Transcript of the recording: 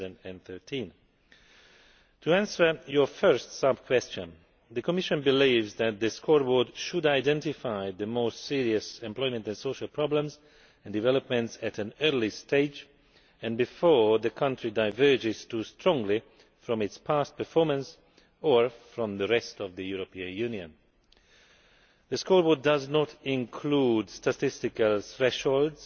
2013. To answer your first sub question, the Commission believes that the scoreboard should identify the most serious employment and social problems and developments at an early stage, and before a country diverges too strongly from its past performance or from the rest of the European Union. The scoreboard does not include statistical thresholds,